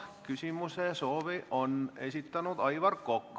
Küsimisesoovi on esitanud Aivar Kokk.